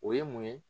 O ye mun ye